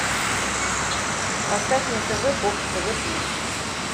поставь на тв бокс тв плюс